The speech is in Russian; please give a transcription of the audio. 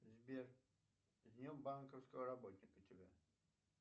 сбер с днем банковского работника тебя